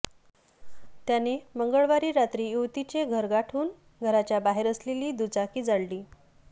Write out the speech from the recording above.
त्याने मंगळवारी रात्री युवतीचे घर गाठून घराच्या बाहेर असलेली दुचाकी जाळली